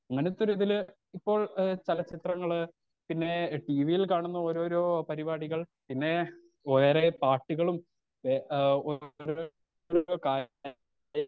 അങ്ങനെത്തൊരുതിൽ ഇപ്പൊ എഹ് ചെലചിത്രങ്ങൾ പിന്നെ ട്ടിവിയിൽ കാണുന്ന ഓരോരോ പരിപാടികൾ പിന്നെ വേറെ പാട്ടുകളും എഹ്